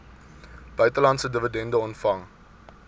buitelandse dividende ontvang